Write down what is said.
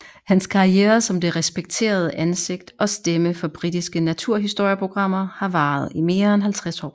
Hans karriere som det respekterede ansigt og stemme for britiske naturhistorieprogrammer har varet i mere end 50 år